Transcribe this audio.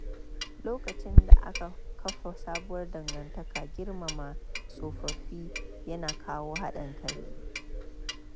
Lokacin da aka kafa sabuwar dangantaka, girmama tsofaffi ya na kawo haɗin kai.